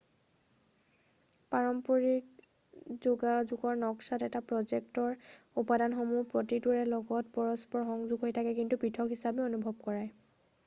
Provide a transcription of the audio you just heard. পৰস্পৰিক যোগাযোগৰ নক্সাত এটা প্ৰ'জেক্টৰ উপাদানসমূহৰ প্ৰতিটোৰে লগত পৰস্পৰ সংযোগ হৈ থাকে কিন্তু পৃথক হিচাপেও অনুভৱ কৰায়